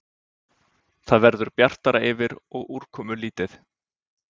Það verður bjartara yfir og úrkomulítið